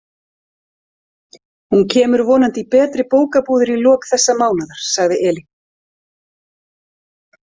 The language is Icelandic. Hún kemur vonandi í betri bókabúðir í lok þessa mánaðar, sagði Elín.